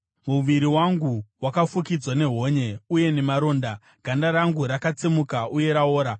Muviri wangu wakafukidzwa nehonye uye nemaronda, ganda rangu rakatsemuka uye raora.